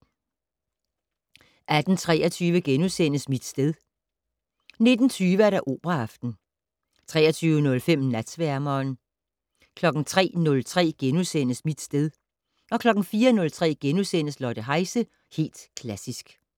18:23: Mit sted * 19:20: Operaaften 23:05: Natsværmeren 03:03: Mit sted * 04:03: Lotte Heise - Helt Klassisk *